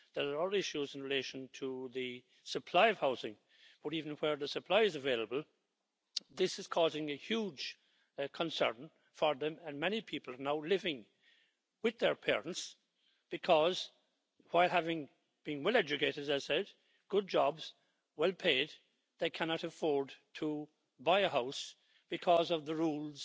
There are other issues in relation to the supply of housing, but even where the supply is available, this is causing a huge concern for them. And many people are now living with their parents because, while having been well educated, as I said, good jobs, well paid, they cannot afford to buy a house because of the rules